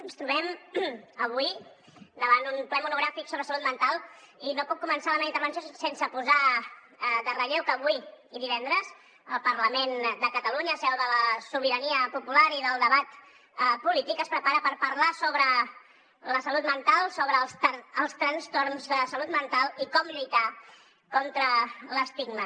ens trobem avui davant un ple monogràfic sobre salut mental i no puc començar la meva intervenció sense posar en relleu que avui i divendres el parlament de catalunya seu de la sobirania popular i del debat polític es prepara per parlar sobre la salut mental sobre els trastorns de salut mental i com lluitar contra l’estigma